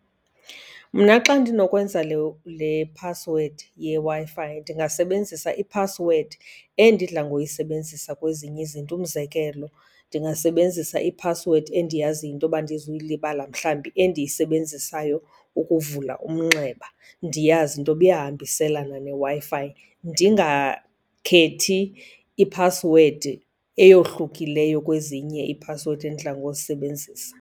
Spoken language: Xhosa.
Mna xa ndinokwenza le, le phasiwedi yeWi-Fi ndingasebenzisa iphasiwedi endidla ngoyisebenzisa kwezinye izinto. Umzekelo, ndingasebenzisa iphasiwedi endiyaziyo into yoba andizuyilibala, mhlawumbi endiyisebenzisayo ukuvula umnxeba, ndiyazi into yoba iyahambiselana neWi-Fi. Ndingakhethi iphasiwedi eyohlukileyo kwezinye iiphasiwedi endidla ngozisebenzisa.